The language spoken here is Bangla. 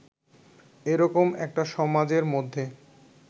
এ রকম একটা সমাজের মধ্যে